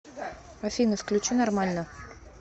афина включи нормально